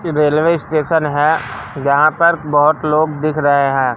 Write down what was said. कि railway station है जहां पर बहुत लोग दिख रहे हैं।